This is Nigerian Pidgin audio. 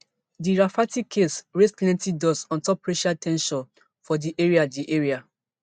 di rafferty case raise plenti dust ontop racial ten sion for di area di area